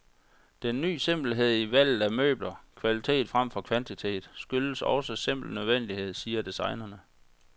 Den ny simpelhed i valget af møbler, kvalitet fremfor kvantitet, skyldes også simpel nødvendighed, siger designerne.